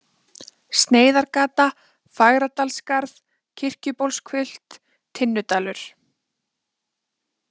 Sneiðargata, Fagradalsskarð, Kirkjubólshvilft, Tinnudalur